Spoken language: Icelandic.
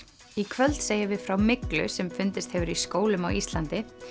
í kvöld segjum við frá myglu sem fundist hefur í skólum á Íslandi